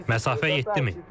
Məsafə 7 min.